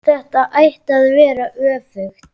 Þetta ætti að vera öfugt.